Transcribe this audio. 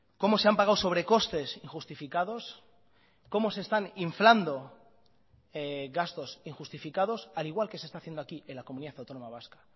cómo se han pagado sobrecostes injustificados cómo se están inflando gastos injustificados al igual que se está haciendo aquí en la comunidad autónoma vasca